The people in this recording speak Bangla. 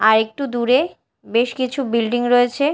আরেকটু দূরে বেশ কিছু বিল্ডিং রয়েছে।